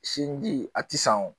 Sinji a ti san o